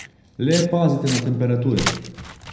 Le pazite na temperature.